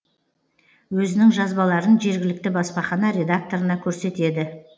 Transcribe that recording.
өзінің жазбаларын жергілікті баспахана редакторына көрсетеді